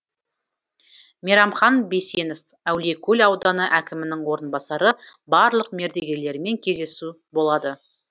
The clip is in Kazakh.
мейрамхан бейсенов әулиекөл ауданы әкімінің орынбасары барлық мердігерлермен кездесу болады